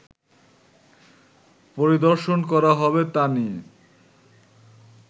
পরিদর্শন করা হবে তা নিয়ে